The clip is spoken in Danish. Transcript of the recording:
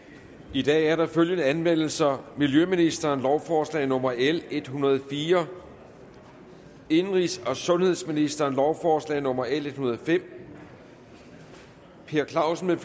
i dag er der følgende anmeldelser miljøministeren lovforslag nummer l en hundrede og fire indenrigs og sundhedsministeren lovforslag nummer l en hundrede og fem per clausen